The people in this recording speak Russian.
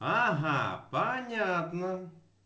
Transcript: ага понятно